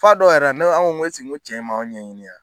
F'a dɔw yɛrɛ la ne ko n ko esigi cɛ in m'anw ɲɛɲini yɛrɛ.